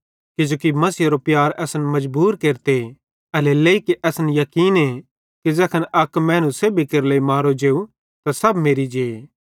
किजोकि मसीहेरो प्यार असन मजबूर केरते एल्हेरेलेइ कि असन याकीने कि ज़ैखन अक मैनू सेब्भी केरे लेइ मरो जेव त सब मेरि जे